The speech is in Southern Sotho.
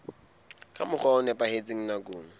ka mokgwa o nepahetseng nakong